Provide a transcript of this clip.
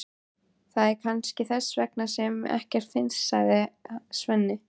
Það er kannski þess vegna sem ekkert finnst, sagði Svenni.